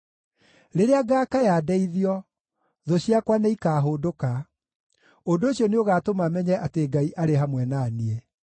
Rĩrĩa ngaakaya ndeithio thũ ciakwa nĩikahũndũka. Ũndũ ũcio nĩũgatũma menye atĩ Ngai arĩ hamwe na niĩ.